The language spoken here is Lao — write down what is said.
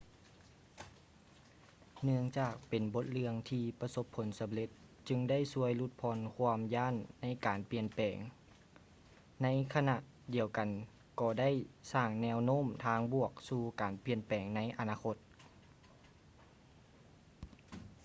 ເນື່ອງຈາກເປັນບົດເລື່ອງທີ່ປະສົບຜົນສຳເລັດຈຶ່ງໄດ້ຊ່ວຍຫຼຸດຜ່ອນຄວາມຢ້ານໃນການປ່ຽນແປງ ໃນຂະນະດຽວກັນກໍໄດ້ສ້າງແນວໂນ້ມທາງບວກສູ່ການປ່ຽນແປງໃນອະນາຄົດ